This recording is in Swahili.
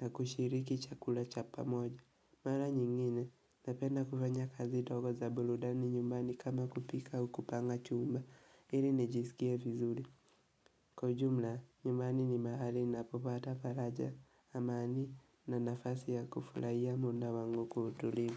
na kushiriki chakula cha pamoja. Mara nyingine, napenda kufanya kazi ndogo za burudani nyumbani kama kupika au kupanga chumba, ili nijisikie vizuri. Kwa ujumla, nyumbani ni mahali ninapopata faraja, amani na nafasi ya kufurahia muda wangu kwa utulivu.